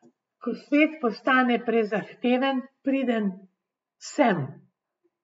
Ko svet postane prezahteven, pridem sem.